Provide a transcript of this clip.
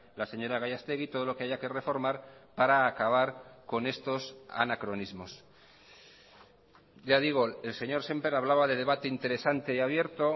la señora gallastegui todo lo que haya que reformar para acabar con estos anacronismos ya digo el señor sémper hablaba de debate interesante y abierto